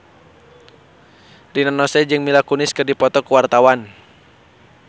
Rina Nose jeung Mila Kunis keur dipoto ku wartawan